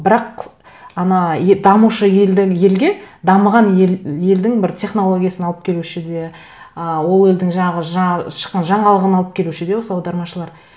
бірақ ана дамушы елге дамыған елдің бір технологиясын алып келуші де ы ол елдің жаңағы шыққан жаңалығын алып келуші де осы аудармашылар